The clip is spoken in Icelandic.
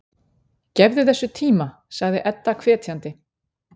Gefðu þessu tíma, sagði Edda hvetjandi.